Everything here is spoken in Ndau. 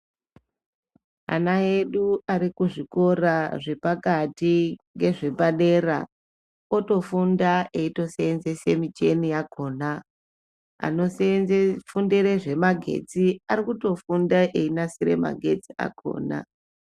Ana edu arikuzvikora zvepakati ngezvepadera otofunda eitosenzese micheni yakhona. Anofundire zvemagetsi ari kutofunda einasire magetsi akhona .